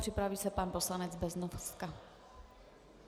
Připraví se pan poslanec Beznoska.